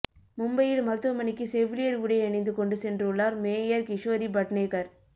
மும்பையில் மருத்துவமனைக்கு செவிலியர் உடை அணிந்து கொண்டு சென்றுள்ளார் மேயர் கிஷோரி பட்னேகர்